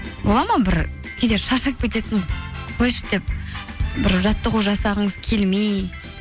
бола ма бір кейде шаршап кететін қойшы деп бір жаттығу жасағыңыз келмей